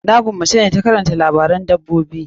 Na gwammaci na ta karanta labaran dabbobi.